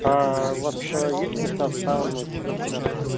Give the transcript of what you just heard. у вас есть места в сауну через час